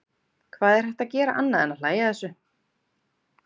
Hvað er hægt að gera annað en að hlægja að þessu?